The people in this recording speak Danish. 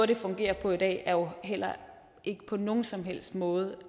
det fungerer på i dag heller ikke på nogen som helst måde